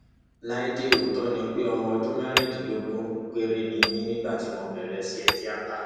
láìdẹ òótọ ni pé ọmọ ọdún mẹrìndínlógún péré ni mí nígbà tí mo bẹrẹ iṣẹ tíátá